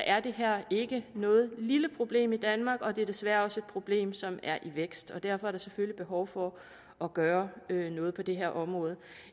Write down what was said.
er det her ikke noget lille problem i danmark og det er desværre også et problem som er i vækst og derfor er der selvfølgelig behov for at gøre noget på det her område